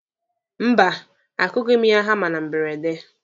Mba, akụghị m ya hama na mberede.